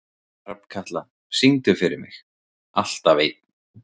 Hrafnkatla, syngdu fyrir mig „Alltaf einn“.